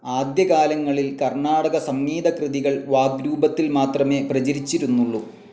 ആദ്യകാലങ്ങളിൽ കർണാടക സംഗീതകൃതികൾ വാഗ്രൂപത്തിൽ മാത്രമേ പ്രചരിചിരുന്നുള്ളൂ..